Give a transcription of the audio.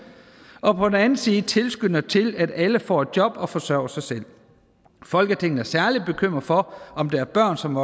og på den anden side tilskynder til at alle får et job og forsørger sig selv folketinget er særlig bekymret for om der er børn som